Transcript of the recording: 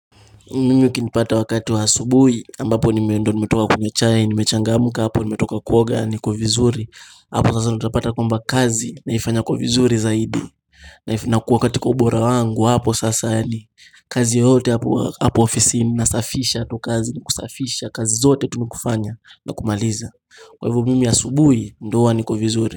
Mimi ukinipata wakati wa asubuhi ambapo nimeenda nimetoka kunywa chai, nimechangamuka hapo nimetoka kuoga niko vizuri, hapo sasa nitapata kwamba kazi naifanya kwa vizuri zaidi nakuwa katika ubora wangu hapo sasa yaani kazi yote hapo ofisini nasafisha tu kazi ni kusafisha kazi zote tu nikufanya na kumaliza Kwa hivyo mimi asubuhi ndio huwa niko vizuri.